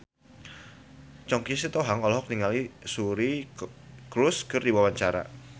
Choky Sitohang olohok ningali Suri Cruise keur diwawancara